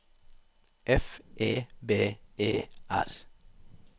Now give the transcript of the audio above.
F E B E R